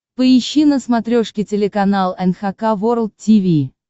поищи на смотрешке телеканал эн эйч кей волд ти ви